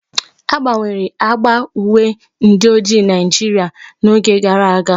A gbanwere agba uwe ndi ojii Naijiria n'oge gara aga.